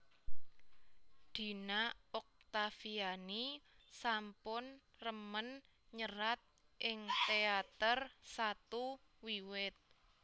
Dina Oktaviani sampun remen nyerat ing teater satu wiwit